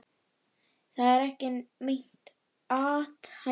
Það er ekki meint athæfi.